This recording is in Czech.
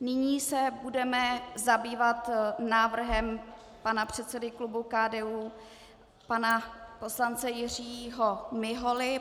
Nyní se budeme zabývat návrhem pana předsedy klubu KDU pana poslance Jiřího Miholy.